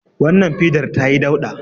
Wannan fidar ta yi dauɗa